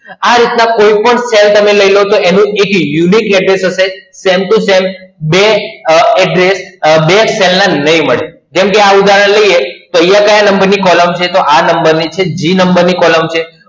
આ રીતના કોઈપણ Cell તમે લઈ લો તો એનું એક Unique address હશે. Same to same બે Address બે Cell ના નહીં મળે. કેમ કે આ ઉદાહરણ લઈએ તો અહિયાં ક્યા Number ની Column છે? તો આ Number ની છે G number ની column છે.